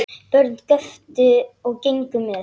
Börn göptu og gengu með.